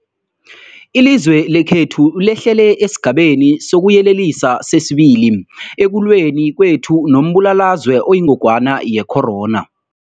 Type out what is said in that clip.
Ilizwe lekhethu lehlele esiGabeni sokuYelelisa sesi-2 ekulweni kwethu nombulalazwe oyingogwana ye-corona.